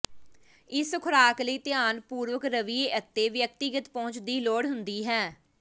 ਇਸ ਖੁਰਾਕ ਲਈ ਧਿਆਨ ਪੂਰਵਕ ਰਵਈਏ ਅਤੇ ਵਿਅਕਤੀਗਤ ਪਹੁੰਚ ਦੀ ਲੋੜ ਹੁੰਦੀ ਹੈ